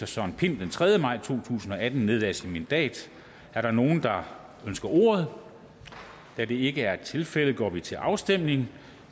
søren pind den tredje maj to tusind og atten nedlagde sit mandat er der nogen der ønsker ordet da det ikke er tilfældet går vi til afstemning